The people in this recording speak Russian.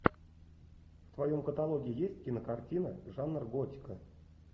в твоем каталоге есть кинокартина жанр готика